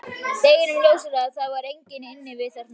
Deginum ljósara að það var enginn inni við þarna niðri.